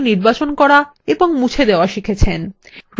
আপনি একটি বস্তু নির্বাচন করা এবং মুছে দেওয়া শিখেছেন